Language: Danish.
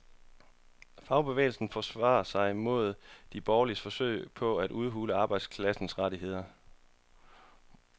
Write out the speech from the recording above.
Fagbevægelsen forsvarer sig mod de borgerliges forsøg på at udhule arbejderklassens rettigheder.